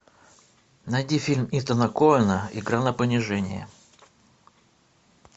найди фильм итана коэна игра на понижение